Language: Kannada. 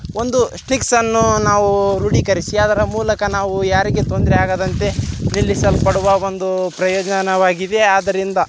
ಒಂದು ಸ್ಟಿಕ್ಸ ಅನ್ನು ನಾವು ರೂಢಿಕರಿಸಿ ಅವರ ಮೂಲಕ ನಾವು ಯಾರಿಗೂ ತೊಂದರೆ ಆಗದಂತೆ ನಿಲ್ಲಿಸಲ್ಪಡುವ ಒಂದು ಪ್ರಯೋಜನವಾಗಿದೆ ಇದರಿಂದ--